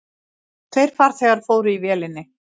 Tveir farþegar voru í vélinni.